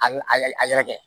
A a yɛrɛ a yɛrɛ kɛ